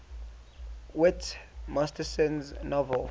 whit masterson's novel